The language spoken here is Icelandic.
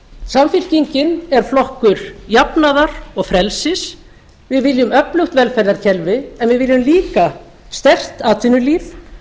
samfylkingin er flokkur jafnaðar og frelsis við viljum öflugt velferðarkerfi en við viljum líka sterkt atvinnulíf